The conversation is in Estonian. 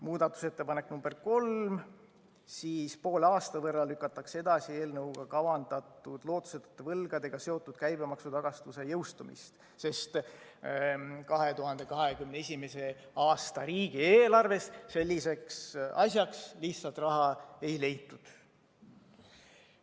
Muudatusettepanek nr 3: poole aasta võrra lükatakse edasi eelnõuga kavandatud lootusetute võlgadega seotud käibemaksutagastuse jõustumist, sest 2021. aasta riigieelarves selliseks asjaks lihtsalt raha ei leitud.